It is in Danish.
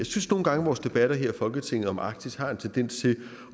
synes nogle gange at vores debatter her i folketinget om arktis har en tendens til